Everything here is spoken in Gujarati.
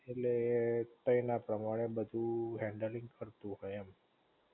ઍટલે તઈ ના પ્રમાણે બધું હેન્ડલીંગ થતું હોય એમ